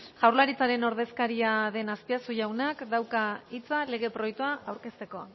jaurlaritzaren ordezkaria den azpiazu jaunak dauka hitza lege proiektua aurkezteko